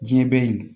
Diɲɛ bɛ yen